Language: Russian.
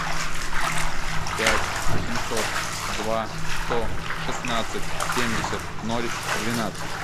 пять восемьсот два сто шестнадцать семьдесят ноль двенадцать